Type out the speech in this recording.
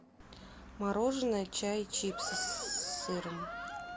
мороженое чай чипсы с сыром